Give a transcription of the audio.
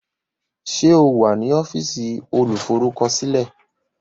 Ṣé o wà ní ọ́fíìsì olùforúkọsílẹ̀?